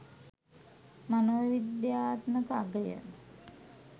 මනෝවිද්‍යාත්මක අගය